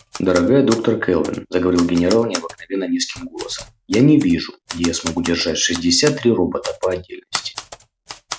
дорогая доктор кэлвин заговорил генерал необыкновенно низким голосом я не вижу где я смогу держать шестьдесят три робота по отдельности